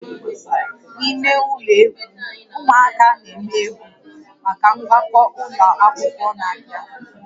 N'ime ụlọ egwu, ụmụaka na-eme egwu maka mgbakọ ụlọ akwụkwọ na-abịa